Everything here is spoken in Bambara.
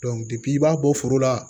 i b'a bɔ foro la